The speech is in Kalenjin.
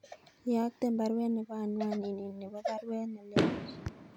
Iyokten baruet nebo anwanini nebo baruet nelelach